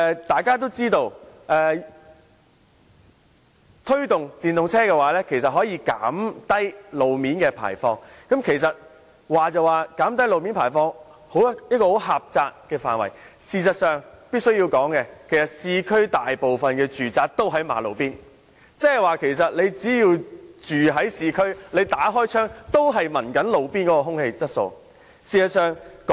大家也知道推動使用電動車有助減低路面的廢氣排放，雖說路面範圍狹窄，但我必須提醒大家，市區大部分的住宅均是位於馬路邊，即居住在市區的人士打開窗戶後，所吸入的也是路邊的空氣。